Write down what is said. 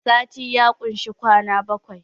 sati ya kushi kwana bakwai